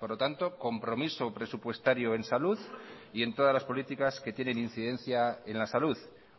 por lo tanto compromiso presupuestario en salud y en todas las políticas que tienen incidencia en la salud